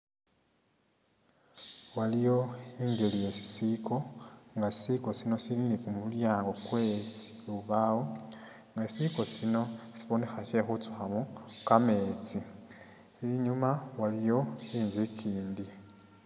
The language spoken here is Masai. Waliwo ingeli yesisiko nga sisiko sino sili ni kumulyango kwe lubawo, nga sisiko sino sibonekha shyekhutsukhamo kametsi, inyuma waliwo inzu ikindi